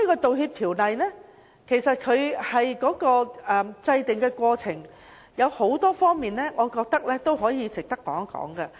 在《條例草案》的制定過程中，我覺得有很多方面值得一提。